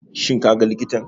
Shin kaga likitan?